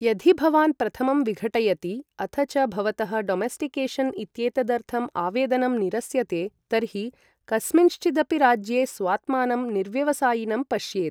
यदि भवान् प्रथमं विघटयति अथ च भवतः डोमेस्टिकेशन् इत्येतदर्थम् आवेदनम् निरस्यते, तर्हि कस्मिँश्चिदपि राज्ये स्वात्मानं निर्व्यवसायिनं पश्येत्।